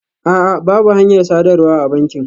A'a, babu hanyar sadarwa a bankin